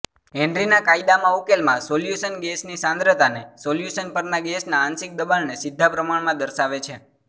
હેનરીના કાયદામાં ઉકેલમાં સોલ્યુશન ગેસની સાંદ્રતાને સોલ્યુશન પરના ગેસના આંશિક દબાણને સીધા પ્રમાણમાં દર્શાવે છે